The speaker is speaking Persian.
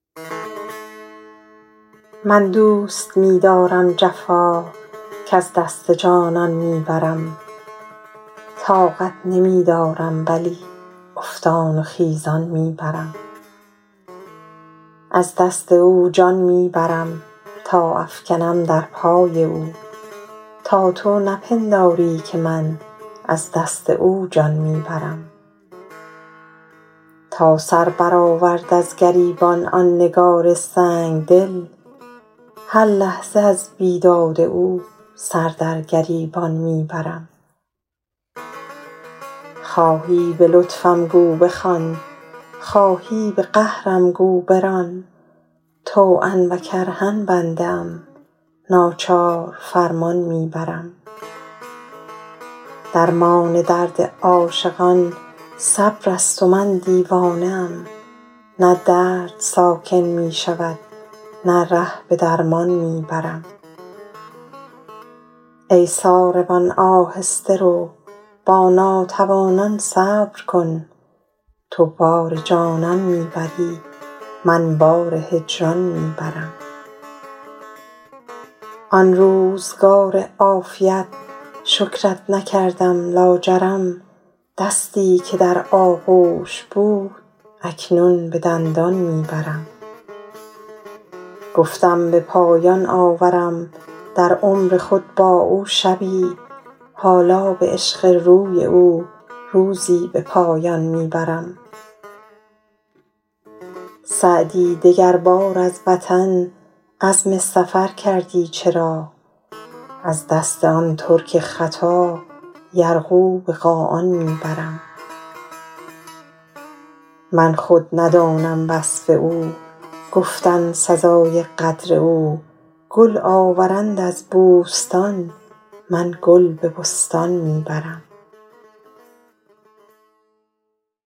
من دوست می دارم جفا کز دست جانان می برم طاقت نمی دارم ولی افتان و خیزان می برم از دست او جان می برم تا افکنم در پای او تا تو نپنداری که من از دست او جان می برم تا سر برآورد از گریبان آن نگار سنگ دل هر لحظه از بیداد او سر در گریبان می برم خواهی به لطفم گو بخوان خواهی به قهرم گو بران طوعا و کرها بنده ام ناچار فرمان می برم درمان درد عاشقان صبر است و من دیوانه ام نه درد ساکن می شود نه ره به درمان می برم ای ساربان آهسته رو با ناتوانان صبر کن تو بار جانان می بری من بار هجران می برم ای روزگار عافیت شکرت نکردم لاجرم دستی که در آغوش بود اکنون به دندان می برم گفتم به پایان آورم در عمر خود با او شبی حالا به عشق روی او روزی به پایان می برم سعدی دگربار از وطن عزم سفر کردی چرا از دست آن ترک خطا یرغو به قاآن می برم من خود ندانم وصف او گفتن سزای قدر او گل آورند از بوستان من گل به بستان می برم